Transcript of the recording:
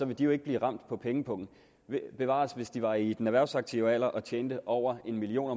vil de jo ikke blive ramt på pengepungen bevares hvis de var i den erhvervsaktive alder og tjente over en million